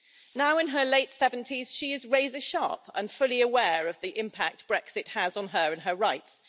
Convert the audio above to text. Now in her late 70s she is razor sharp and fully aware of the impact Brexit has on her and her rights.